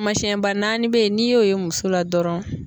masiyɛnba naani bɛ ye n'i y'o ye muso la dɔrɔn